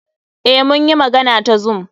Eh, mun yi magana ta zoom.